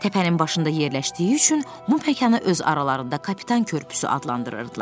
Təpənin başında yerləşdiyi üçün bu məkanı öz aralarında Kapitan Körpüsü adlandırırdılar.